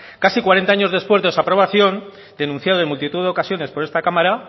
casi cuarenta años después de su aprobación denunciado en multitud de ocasiones por esta cámara